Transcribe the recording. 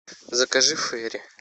закажи фейри